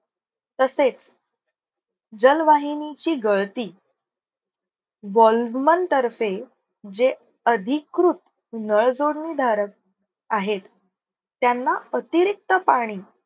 तसेच जलवाहिनीची गळती VALMON तर्फे जे अधिकृत नळ जोडणी धारक आहेत त्यांना अतिरिक्त पाणी